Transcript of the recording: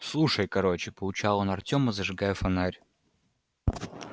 слушай короче поучал он артёма зажигая фонарь